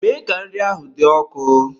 Mee ka nri ahụ dị ọkụ!